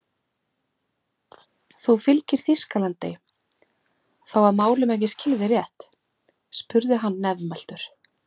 Þú fylgir Þýskalandi þá að málum ef ég skil þig rétt? spurði hann nefmæltur.